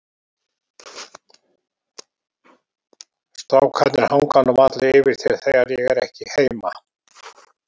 Strákarnir hanga nú varla yfir þér þegar ég er ekki heima.